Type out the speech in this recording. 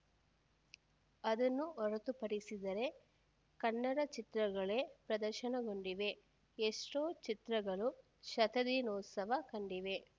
ಅದನ್ನು ಹೊರತುಪಡಿಸಿದರೆ ಕನ್ನಡ ಚಿತ್ರಗಳೇ ಪ್ರದರ್ಶನಗೊಂಡಿವೆ ಎಷ್ಟೋ ಚಿತ್ರಗಳು ಶತದಿನೋತ್ಸವ ಕಂಡಿವೆ